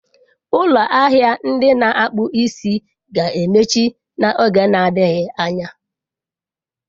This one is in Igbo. Ụlọ ahịa ndị na-akpụ isi ga-emechi n'oge na-adịghị anya.